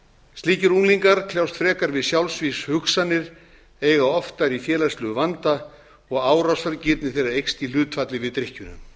slíkir unglingar kljást frekar við sjálfsvígshugsanir eiga oftar í félagslegum vanda og árásargirni þeirra eykst í hlutfalli við drykkjuna